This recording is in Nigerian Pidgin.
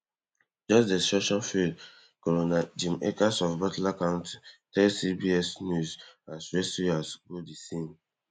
just destruction field coroner jim akers of butler count tell CBS news as rescuers go di scene